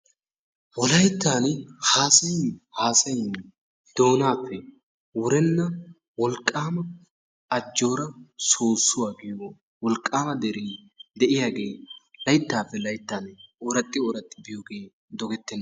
Wolayttani haasayin haasayin doonaappe wurenna wolqaama ajjoora soosuwa giyo wolqaama deree laytaappe layttan ooraxxi ooraxxi biyogee dogettenna.